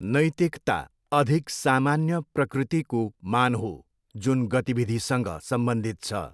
नैतिकता अधिक सामान्य प्रकृतिको मान हो जुन गतिविधिसँग सम्बन्धित छ।